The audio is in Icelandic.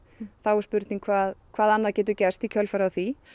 þá er spurning hvað hvað annað getur gerst í kjölfarið á því